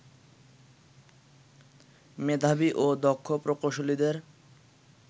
মেধাবী ও দক্ষ প্রকৌশলীদের